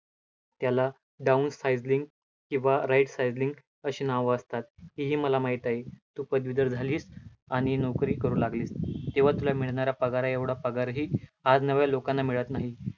त्याला down किंवा right अशी नावं असतात, ते ही मला माहित आहे, तु पदवीधर झालीस आणि नोकरी करू लागली, तेव्हा तुला मिळणाऱ्या पगारा एवढा पगारही आज नव्या लोकांना मिळतं नाही.